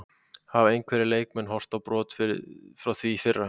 Hafa einhverjir leikmenn horfið á brott frá því í fyrra?